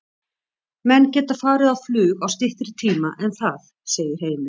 Menn geta farið á flug á styttri tíma en það, segir Heimir.